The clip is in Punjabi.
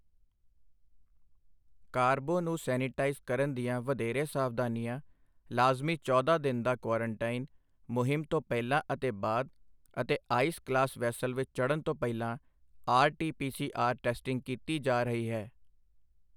ਕਾਰਬੋ ਨੂੰ ਸੈਨੇਟਾਈਜ਼ ਕਰਨ ਦੀਆਂ ਵਧੇਰੇ ਸਾਵਧਾਨੀਆਂ, ਲਾਜ਼ਮੀ ਚੌਦਾਂ ਦਿਨ ਦਾ ਕੁਆਰਨਟੀਨ ਮੁਹਿੰਮ ਤੋਂ ਪਹਿਲਾਂ ਅਤੇ ਬਾਅਦ ਅਤੇ ਆਈਸ ਕਲਾਸ ਵੈਸਲ ਵਿੱਚ ਚੜ੍ਨ ਤੋਂ ਪਹਿਲਾਂ R T P C R testing ਕੀਤੀ ਜਾ ਰਹੀ ਹੈ।